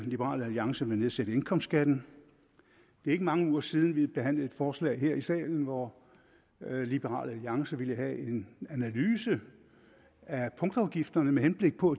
liberal alliance vil nedsætte indkomstskatten det er ikke mange uger siden vi behandlede et forslag her i salen hvor liberal alliance ville have en analyse af punktafgifterne med henblik på